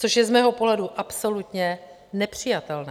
Což je z mého pohledu absolutně nepřijatelné.